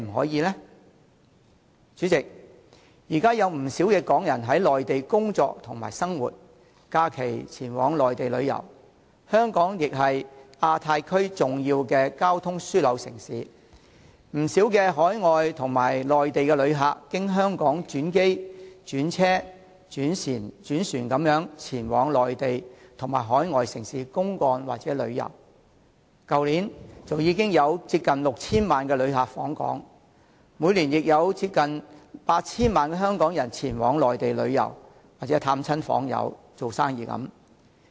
代理主席，現在有不少港人在內地工作和生活，並於假日前往內地旅遊，而香港本身亦是亞太區重要的交通樞紐城市，不少海外及內地旅客均經香港轉機、轉車或轉船前往內地和各海外城市公幹或旅遊，去年已有接近 6,000 萬人次的旅客訪港，而平均每年亦有接近 8,000 萬人次香港人前往內地旅遊、探訪親友或營商等。